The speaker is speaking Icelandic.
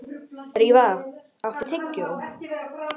Drífa, áttu tyggjó?